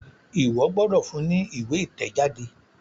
Iwọ gbódò fún ní ìwé itẹjade!